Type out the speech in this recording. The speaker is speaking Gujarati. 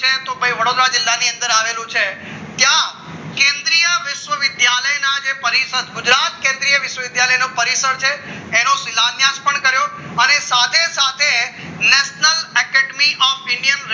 તો ભાઈ વડોદરા જિલ્લામાં ની અંદર આવેલું છે ક્યાં કેન્દ્રીય વિશ્વવિદ્યાલયના જે પરિષદ ગુજરાત વિશ્વવિદ્યાલય કેન્દ્રનો પરિષદ છે એનો શિલાન્યાશ પણ કર્યો અને સાથે સાથે national academy of india